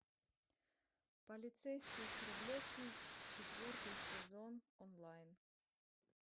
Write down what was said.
полицейский с рублевки четвертый сезон онлайн